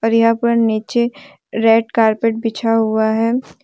और यहां पर नीचे रेड कारपेट बिछा हुआ है।